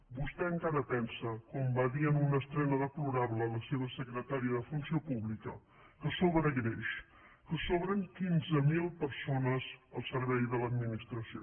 vostè encara pensa com va dir en una estrena deplorable la seva secretària de funció pública que sobra greix que sobren quinze mil persones al servei de l’administració